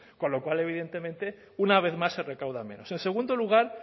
con lo cual evidentemente una vez más se recauda menos en segundo lugar